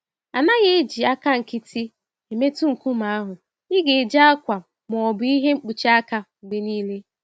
A naghị eji àkà nkịtị emetụ nkume ahụ - igeji akwa ma ọ bụ ìhè mkpuchi aka mgbe niile.